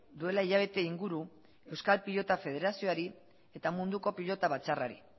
duela hilabete inguru euskal pilota federazioari eta munduko pilota batzarrari